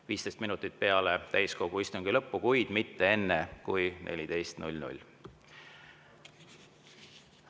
– 15 minutit peale täiskogu istungi lõppu, kuid mitte enne kui kell 14.00.